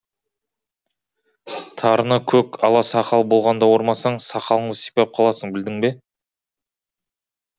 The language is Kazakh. тарыны көк ала сақал болғанда ормасаң сақалыңды сипап қаласың білдің бе